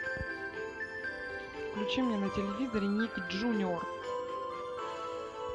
включи мне на телевизоре ник джуниор